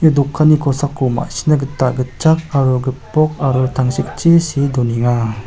ia dokanni kosako ma·sina gita gitchak aro gipok aro tangsekchi see donenga.